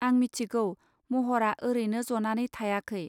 आं मिथिगौ, महरा ओरैनो जनानै थायाखै